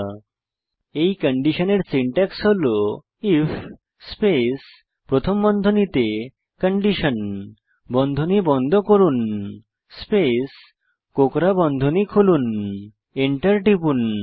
এই if else কন্ডিশনের syntax হল আইএফ স্পেস প্রথম বন্ধনীতে কন্ডিশন বন্ধনী বন্ধ করুন স্পেস কোঁকড়া বন্ধনী খুলুন এন্টার টিপুন